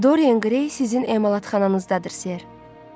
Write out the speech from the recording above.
Dorian Gray sizin emalatxananızdadır, Sir.